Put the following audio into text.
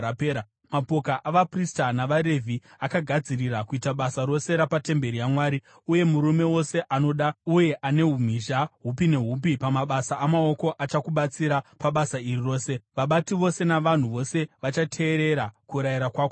Mapoka avaprista navaRevhi akagadzirira kuita basa rose rapatemberi yaMwari, uye murume wose anoda uye ane umhizha hupi nehupi pamabasa amaoko achakubatsira pabasa iri rose. Vabati vose navanhu vose vachateerera kurayira kwako kwose.”